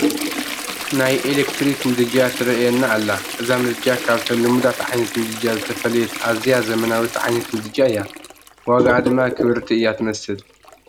ናይ ኤለክትሪክ ምድጃ ትርአየና ኣላ፡፡ እዛ ምድጃ ካብተን ልሙዳት ዓይነት ምድጃ ዝተፈለየት ኣዝያ ዘመናዊት ዓይነት ምድጃ እያ፡፡ ዋግኣ ድማ ክብርቲ እያ ትመስል፡፡